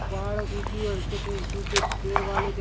पहाड़ सूखी और कुछ सूखे पेड़ वाले देख--